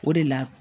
O de la